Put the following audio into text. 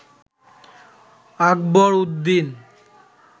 Akbar Uddin